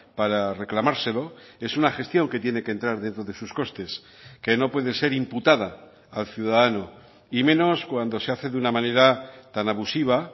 para reclamárselo es una gestión que tiene que entrar dentro de sus costes que no puede ser imputada al ciudadano y menos cuando se hace de una manera tan abusiva